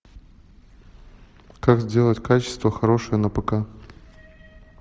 как сделать качество хорошее на пк